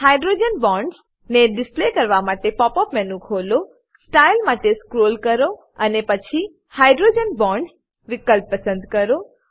hydrogen bonds ને display કરવા માટે પોપ અપ મેનુ ખોલો સ્ટાઇલ માટે સ્ક્રોલ કરો અને પછી હાઇડ્રોજન બોન્ડ્સ વિકલ્પ પસંદ કરો